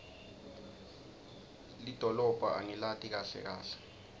lidolobha angilati kahle kahle